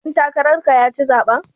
Ɗan takarar ka ya ci zaɓen.